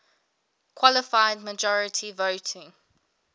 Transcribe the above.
qualified majority voting